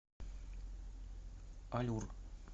аллюр